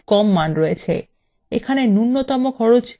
এখানে নূন্যতম খরচ ৩০০ টাকা